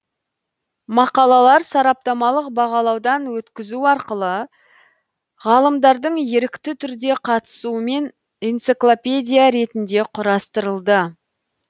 мақалалар сараптамалық бағалаудан өткізу арқылы ғалымдардың ерікті түрде қатысуымен энциклопедия ретінде құрастырылды